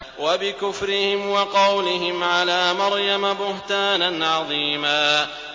وَبِكُفْرِهِمْ وَقَوْلِهِمْ عَلَىٰ مَرْيَمَ بُهْتَانًا عَظِيمًا